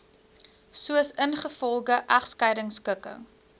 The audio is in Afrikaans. soos ingevolge egskeidingskikking